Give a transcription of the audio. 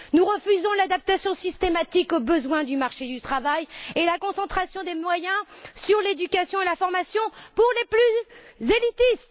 Nous refusons l'adaptation systématique aux besoins du marché du travail et la concentration des moyens sur l'éducation et la formation pour les plus élitistes.